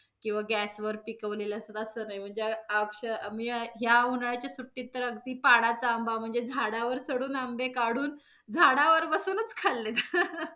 किंवा gas वर पिकवलेले असतात असं नाही म्हणजे अक्षरशः आम्ही या उन्हाळ्याच्या सुट्टीत तर अगदी पाडाचा आंबा म्हणजे झाडावर चढून आंबे काढून झाडावर बसूनच खाल्ले